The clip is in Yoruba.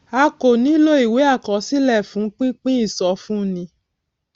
a kò nílò ìwé àkọsílẹ fún pípín ìsọfúnni